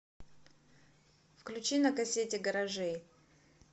включи на кассете гаражей